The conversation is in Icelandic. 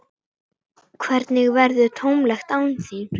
Það verður tómlegt án þín.